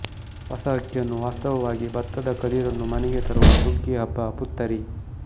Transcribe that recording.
ಹೊಸ ಅಕ್ಕಿಯನ್ನು ವಾಸ್ತವವಾಗಿ ಭತ್ತದ ಕದಿರನ್ನು ಮನೆಗೆ ತರುವ ಸುಗ್ಗಿ ಹಬ್ಬ ಪುತ್ತರಿ